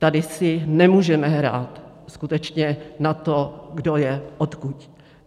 Tady si nemůžeme hrát skutečně na to, kdo je odkud.